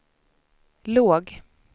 låg